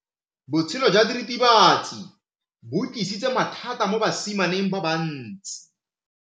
Botshelo jwa diritibatsi ke bo tlisitse mathata mo basimaneng ba bantsi.